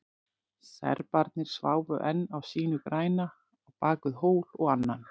Serbarnir sváfu enn á sínu græna, á bakvið hól og annan.